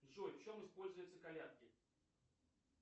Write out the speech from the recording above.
джой в чем используются колядки